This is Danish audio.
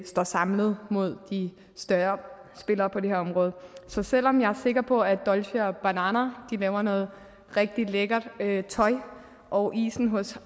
står samlet mod de større spillere på det her område så selv om jeg er sikker på at dolce banana laver noget rigtig lækkert tøj og isen hos